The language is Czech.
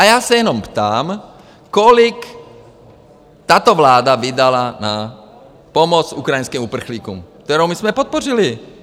A já se jenom ptám, kolik tato vláda vydala na pomoc ukrajinským uprchlíkům, kterou my jsme podpořili.